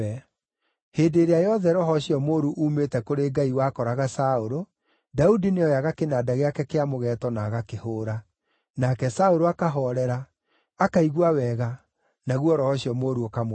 Hĩndĩ ĩrĩa yothe roho ũcio mũũru uumĩte kũrĩ Ngai wakoraga Saũlũ, Daudi nĩoyaga kĩnanda gĩake kĩa mũgeeto na agakĩhũũra. Nake Saũlũ akahoorera; akaigua wega, naguo roho ũcio mũũru ũkamweherera.